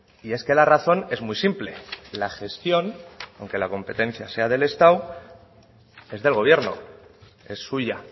y es que la razón es muy simple la gestión aunque la competencia sea del estado es del gobierno es suya